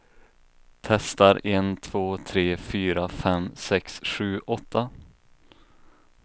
Testar en två tre fyra fem sex sju åtta.